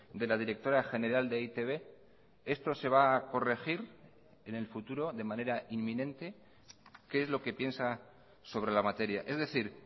de la directora general de e i te be esto se va a corregir en el futuro de manera inminente qué es lo que piensa sobre la materia es decir